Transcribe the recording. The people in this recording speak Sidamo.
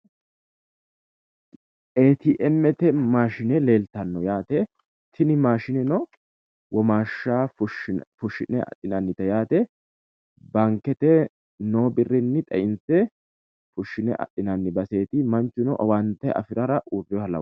eeti emmete maashine leeltanno yaate tini maashineno womaashsha fushshine adhinannite yaate bankete noo birrinni xeinse fushshine adhinanni baseeti manchuno owaante afirara uurreeha lawa.